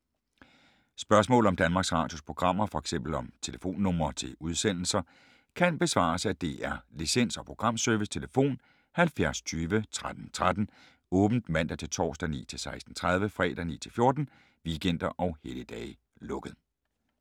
Spørgsmål om Danmarks Radios programmer, f.eks. om telefonnumre til udsendelser, kan besvares af DR Licens- og Programservice: tlf. 70 20 13 13, åbent mandag-torsdag 9.00-16.30, fredag 9.00-14.00, weekender og helligdage: lukket.